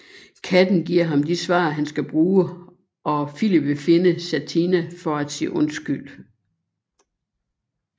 Katten giver ham de svar han skal bruge og Filip vil finde Satina for at sige undskyld